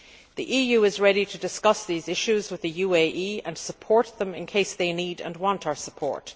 The EU is ready to discuss these issues with the UAE and to support them in case they need and want our support.